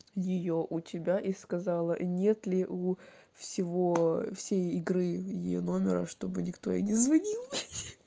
её у тебя и сказала нет ли у всего все игры её номера чтобы никто и не звонил